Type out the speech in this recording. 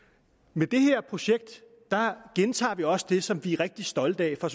med det her projekt gentager vi også det som vi er rigtig stolte af at